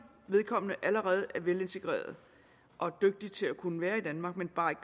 vedkommende allerede er velintegreret og er dygtig til at kunne være i danmark men bare ikke